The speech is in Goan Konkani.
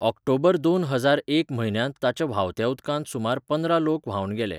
ऑक्टोबरदोन हजार एक म्हयन्यांत ताच्या व्हांवत्या उदकांत सुमार पंदरा लोक व्हांवन गेले.